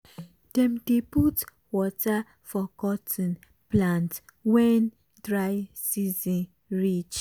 dem dey put water for cotton plant wen dry season reach.